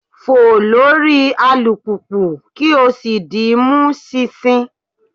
Fo lori alupupu ki o si di mi mu ṣinṣin